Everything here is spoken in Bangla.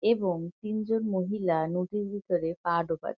এবং তিনজন মহিলা নদীর ভিতরে পা ডোবা--